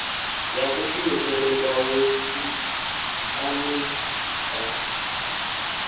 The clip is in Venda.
ya kushumisele kwawo siani ḽa